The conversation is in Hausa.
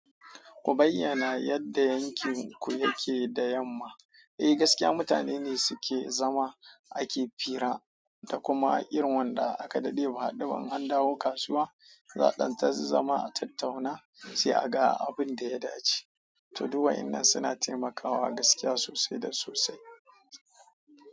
Ku bayyana yadda aikin ku yake da yamma. Eh gaskiya mutane ne suke zama ake hira da kuma irin wanda aka daɗe ba haɗuba in an dawo kasuwa zaɗan ta zazzama a tattauna sai a ga abin da ya dace. To duk wa'annan suna taimakawa gaskiya sosai da sosai.